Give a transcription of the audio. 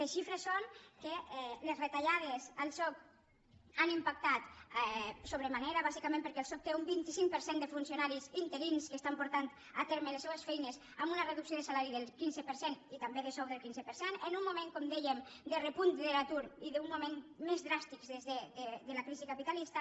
les xifres són que les retallades al soc han impactat sobre manera bàsicament perquè el soc té un vint cinc per cent de funcionaris interins que estan portant a terme les seues feines amb una reducció de salari del quinze per cent i també de sou del quinze per cent en un moment com dèiem de repunt de l’atur i d’un dels moments més dràstics de la crisi capitalista